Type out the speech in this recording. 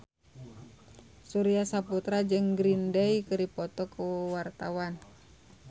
Surya Saputra jeung Green Day keur dipoto ku wartawan